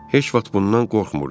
Heç vaxt bundan qorxmurdular.